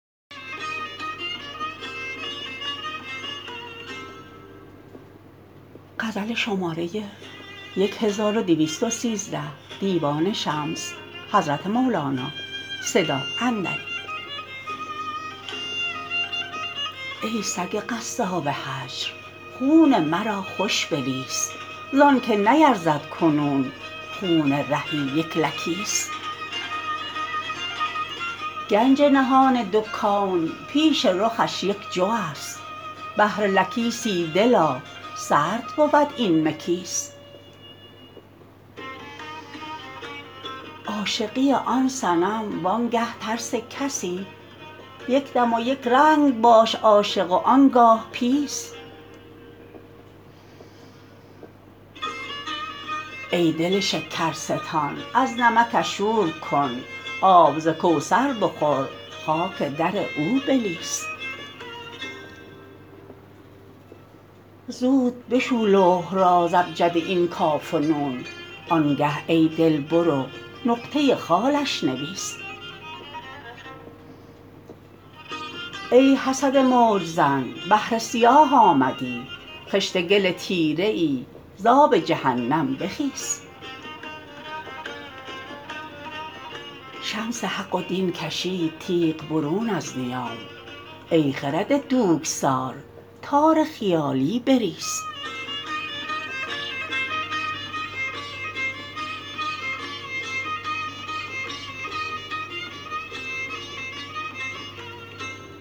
ای سگ قصاب هجر خون مرا خوش بلیس زانک نیرزد کنون خون رهی یک لکیس گنج نهان دو کون پیش رخش یک جوست بهر لکیسی دلا سرد بود این مکیس عاشقی آن صنم وانگه ترس کسی یک دم و یک رنگ باش عاشق و آن گاه پیس ای دل شکرستان از نمکش شور کن آب ز کوثر بخور خاک در او بلیس زود بشو لوح را ز ابجد این کاف و نون آنگه ای دل بر او نقطه خالش نویس ای حسد موج زن بحر سیاه آمدی خشت گل تیره ای ز آب جهنم بخیس شمس حق و دین کشید تیغ برون از نیام ای خرد دوک سار تار خیالی بریس